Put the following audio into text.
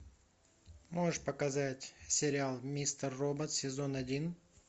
можешь показать сериал мистер робот сезон один